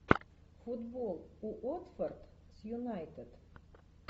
футбол уотфорд с юнайтед